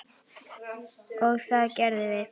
Og það gerðum við.